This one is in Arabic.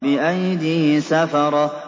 بِأَيْدِي سَفَرَةٍ